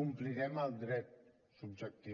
complirem el dret subjectiu